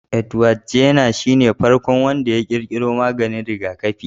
Edward Jenner shine farkon wanda ya ƙirƙiro maganin rigakafi.